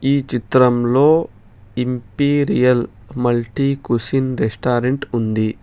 ఈ చిత్రంలో imperial multi cuisine restaurant ఉంది.